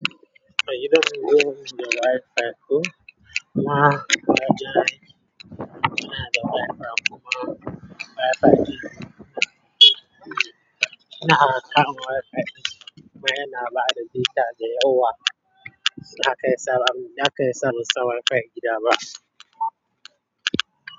Kai idan ruwan da wife ya fi kuma wife ya yi, yana da wife kuma wife ya yi, yana karamin wife. Kuma yana ba da zita da yawa. Na kai sabon, ya kai sabon wife gida ba.